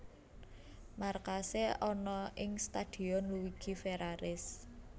Markase ana ing Stadion Luigi Ferraris